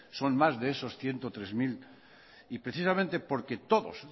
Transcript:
son más de esos ciento treinta mil y precisamente porque todos